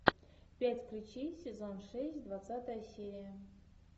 пять ключей сезон шесть двадцатая серия